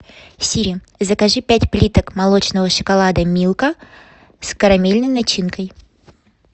сири закажи пять плиток молочного шоколада милка с карамельной начинкой